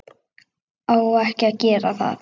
Á ekki að gera það.